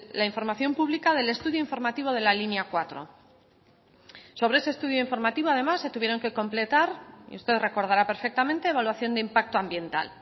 la información pública del estudio informativo de la línea cuatro sobre ese estudio informativo además se tuvieron que completar y usted recordará perfectamente evaluación de impacto ambiental